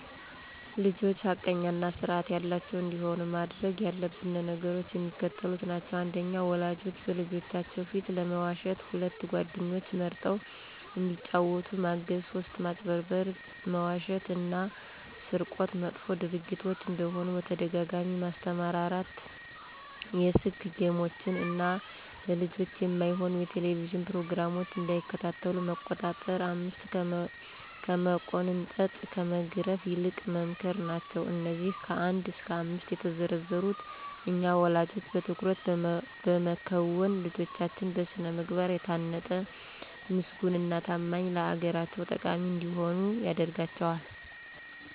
ልጆች ሐቀኛ እና ስርአት ያላቸዉ እንዲሆኑ ማድረግ ያለብን ነገሮች የሚከተሉት ናቸዉ። 1. ወላጆች በልጆቻችን ፊት አለመዋሸት 2. ጓደኞችን መርጠዉ እንዲጫወቱ ማገዝ 3. ማጭበርበር፣ መዋሸት እና ስርቆት መጥፎ ድርጊቶች እንደሆኑ በተደጋጋሚ ማስተማር 4. የስክ ጌሞችን እና ለልጆች የማይሆኑ የቴሌቭዥን ፕሮግራሞች እንዳይከታተሉ መቆጣጠር 5ከመቆንጠጥ ከመግረፍ ይልቅ መምከር ናቸዉ። አነዚህ ከ1 እስከ 5 የተዘረዘሩትን እኛ ወለጆች በትኩረት በመከወን ልጆቻችን በስነ ምግባር የታነጡ ምስጉን እና ታማኝ ለአገራቸው ጠቃሚ እንዲሆኑ ያደርጋቸዋል።